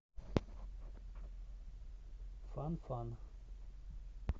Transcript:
фанфан